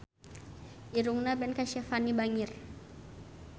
Irungna Ben Kasyafani bangir